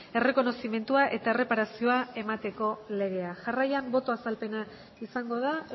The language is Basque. errekonozimendua eta erreparazioa emateko legea jarraian boto azalpena izango da